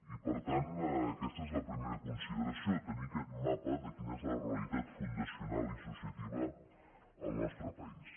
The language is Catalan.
i per tant aquesta és la primera consideració tenir aquest mapa de quina és la realitat fundacional i associativa al nostre país